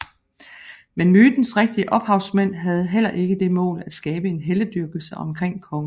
Men mytens rigtige ophavsmænd havde heller ikke det mål at skabe en heltedyrkelse omkring kongen